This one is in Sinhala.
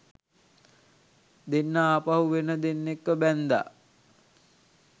දෙන්නා ආපහු වෙන දෙන්නෙක්ව බැන්දා